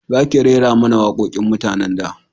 Za ki rera mana waƙoƙin mutanen da